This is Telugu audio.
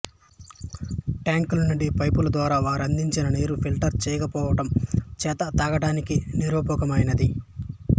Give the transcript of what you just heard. టాంక్ నుండి పైపులద్వారా వారందించిన నీరు ఫిల్టర్ చేయకపోవడం చేత తాగటానికి నిరుపయోగమైనది